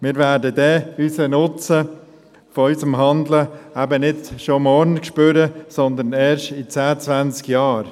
Wir werden den Nutzen unseres Handelns nicht schon morgen spüren, sondern erst in zehn bis zwanzig Jahren.